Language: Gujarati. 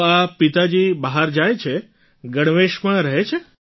તો આ પિતાજી બહાર જાય છે ગણવેશમાં રહે છે